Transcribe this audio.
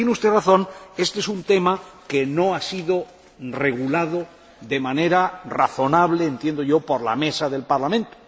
Pero tiene usted razón este es un tema que no ha sido regulado de manera razonable —entiendo yo— por la Mesa del Parlamento.